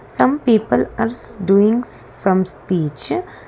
some people are s-doing some speech.